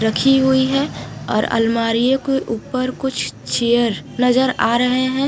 रखी हुई है और अलमारियों के ऊपर कुछ चेयर नजर आ रहे हैं।